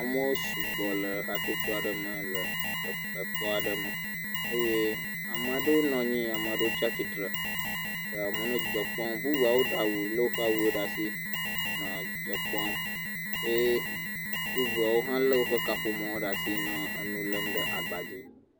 Amewo sugbɔ le hatsotso aɖe me le ekpɔa ɖe me eye amea ɖewo nɔ anyi, amea ɖewo tsatsitre, amewo nɔ dzidzɔ kpɔm, bubuawo ɖe awu, lé woƒe awuwo ɖe asi nɔ dzidzɔ kpɔm, bubuawo hã lé woƒe kaƒomɔwo ɖe asi nɔ enu lém ɖe agba dzi.